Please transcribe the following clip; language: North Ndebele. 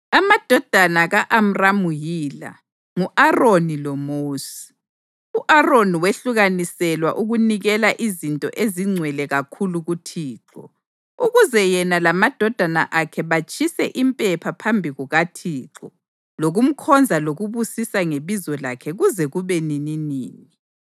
Amadodana ka-Amramu yila: ngu-Aroni loMosi. U-Aroni wehlukaniselwa ukunikela izinto ezingcwele kakhulu kuThixo, ukuze yena lamadodana akhe batshise impepha phambi kukaThixo lokumkhonza lokubusisa ngebizo lakhe kuze kube nininini.